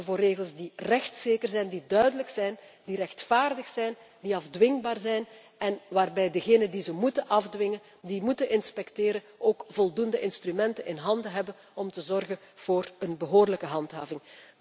Zorgen voor regels die rechtszeker, duidelijk, rechtvaardig en afdwingbaar zijn en waarbij degenen die ze moeten afdwingen en die moeten inspecteren, ook voldoende instrumenten ter beschikking hebben om te zorgen voor een behoorlijke handhaving.